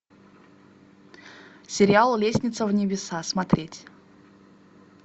сериал лестница в небеса смотреть